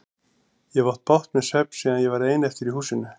Ég hef átt bágt með svefn síðan ég varð ein eftir í húsinu.